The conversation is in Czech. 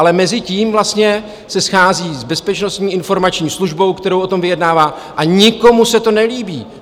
Ale mezitím vlastně se schází s Bezpečnostní informační službou, se kterou o tom vyjednává, a nikomu se to nelíbí.